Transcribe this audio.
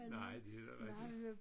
Nej det er da rigtigt